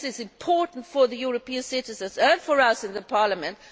This is important for the European citizens and for us in Parliament.